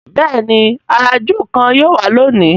béèni àrà júù kán yíò wá lóni.